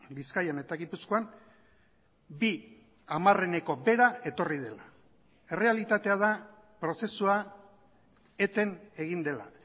bizkaian eta gipuzkoan bi hamarreneko behera etorri dela errealitatea da prozesua eten egin dela